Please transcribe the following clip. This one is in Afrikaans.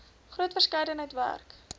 groot verskeidenheid werk